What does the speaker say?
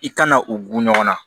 I kana u gun ɲɔgɔn na